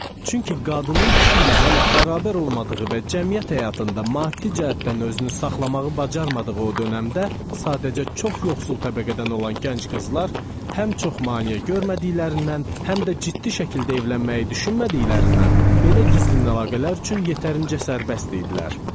Çünki qadının kişi ilə hələ bərabər olmadığı və cəmiyyət həyatında maddi cəhətdən özünü saxlamağı bacarmadığı o dövrdə, sadəcə çox yoxsul təbəqədən olan gənc qızlar həm çox maneə görmədiklərindən, həm də ciddi şəkildə evlənməyi düşünmədiklərindən belə gizlin əlaqələr üçün yetərincə sərbəst idilər.